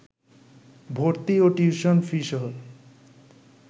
ভর্তি ও টিউশন ফিসহ